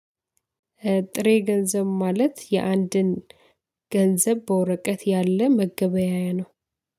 ጥሬ ገንዘብ ማለት የአንድን ገንዘብ በወረቀት ያለ መገበያያ ነው።